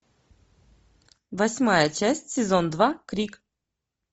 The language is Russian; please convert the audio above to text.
восьмая часть сезон два крик